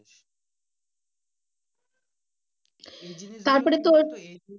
তারপরে তোর।